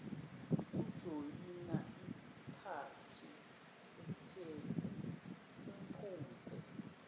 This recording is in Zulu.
ujoyina iphathi uphuze